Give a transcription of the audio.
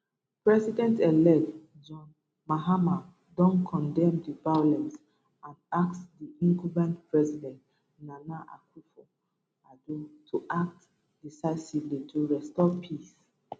presidentelect john mahama don condemn di violence and ask di incumbent president nana akufo addo to act decisively to restore peace